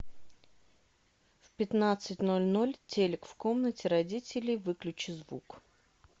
в пятнадцать ноль ноль телек в комнате родителей выключи звук